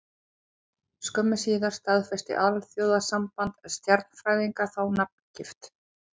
Skömmu síðar staðfesti Alþjóðasamband stjarnfræðinga þá nafngift.